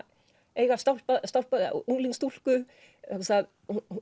eiga unglingsstúlku vegna þess að